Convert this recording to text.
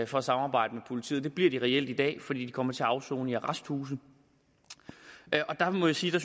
for at samarbejde med politiet og det bliver de reelt i dag fordi de kommer til at afsone i arresthuse der må jeg sige at